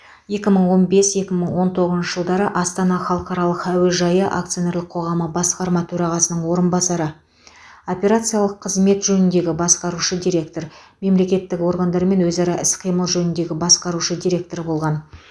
екі мың он бес екі мың он тоғызыншы жылдары астана халықаралық әуежайы акционерлік қоғамы басқарма төрағасының орынбасары операциялық қызмет жөніндегі басқарушы директор мемлекеттік органдармен өзара іс қимыл жөніндегі басқарушы директор болған